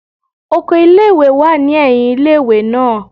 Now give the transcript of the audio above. Okọ̀ ìlé-ìwé wa ni ẹhìn ìlé-ìwé naa